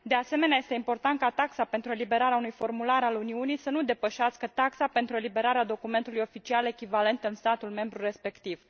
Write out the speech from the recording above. De asemenea, este important ca taxa pentru eliberarea unui formular al Uniunii să nu depășească taxa pentru eliberarea documentului oficial echivalent în statul membru respectiv.